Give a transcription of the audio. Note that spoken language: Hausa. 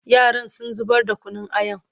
yaran sun zubar da Kunun ayan